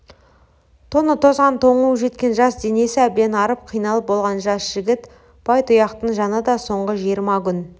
тоны тозған тоңуы жеткен жас денесі әбден арып қиналып болған жас жігіт байтұяқтың жаны да соңғы жиырма күн